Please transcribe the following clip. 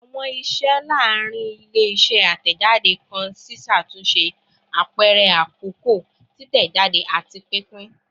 Awọn iṣẹ laarin ile-iṣẹ atẹjade kan ṣiṣatunṣe, apẹrẹ akọkọ, titẹjade, ati pinpin